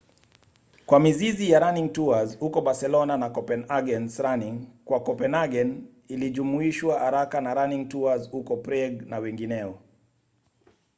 kwa mizizi ya running tours huko barcelona na copenhagen’s running kwa copenhagen ilijumuishwa haraka na running tours huko prague na wengineo